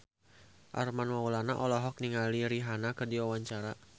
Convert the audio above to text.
Armand Maulana olohok ningali Rihanna keur diwawancara